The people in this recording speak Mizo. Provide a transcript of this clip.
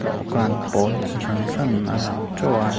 dawhkhan pawl chi hran hran a lang teuh a.